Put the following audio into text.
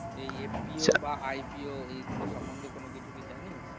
এই FPO বা IPO এইগুলো সম্বন্ধে কোন কিছু কি জানিস্?